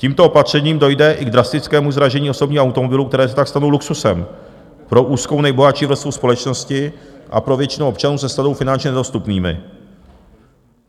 Tímto opatřením dojde i k drastickému zdražení osobních automobilů, které se pak stanou luxusem pro úzkou nejbohatší vrstvu společnosti a pro většinu občanů se stanou finančně nedostupnými.